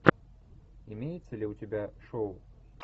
имеется ли у тебя шоу